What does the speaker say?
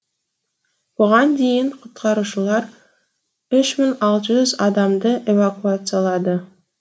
бұған дейін құтқарушылар үш мың алты жүз адамды эвакуациялады